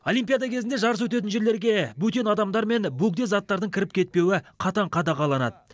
олимпиада кезінде жарыс өтетін жерлерге бөтен адамдар мен бөгде заттардың кіріп кетпеуі қатаң қадағаланады